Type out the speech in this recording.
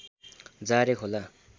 जारे खोला